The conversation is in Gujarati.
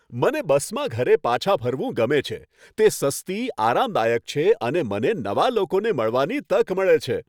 મને બસમાં ઘરે પાછા ફરવું ગમે છે. તે સસ્તી, આરામદાયક છે અને મને નવા લોકોને મળવાની તક મળે છે.